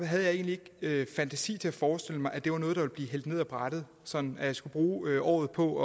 havde jeg egentlig ikke fantasi til at forestille mig at det var noget der ville blive hældt ned ad brættet sådan at jeg skulle bruge året på